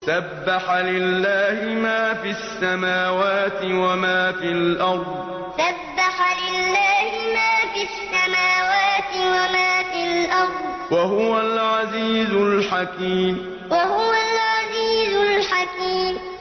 سَبَّحَ لِلَّهِ مَا فِي السَّمَاوَاتِ وَمَا فِي الْأَرْضِ ۖ وَهُوَ الْعَزِيزُ الْحَكِيمُ سَبَّحَ لِلَّهِ مَا فِي السَّمَاوَاتِ وَمَا فِي الْأَرْضِ ۖ وَهُوَ الْعَزِيزُ الْحَكِيمُ